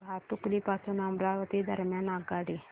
भातुकली पासून अमरावती दरम्यान आगगाडी